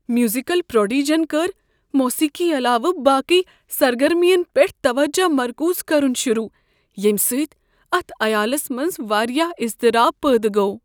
Musical پروڈیجن کٔر موسیقی علاوٕ باقٕے سرگرمین پٮ۪ٹھ توجہ مرکوز کرن شروٗع ییٚمہ سۭتۍ اتھ عیالس منز واریاہ اضطراب پٲدٕ گوٚو۔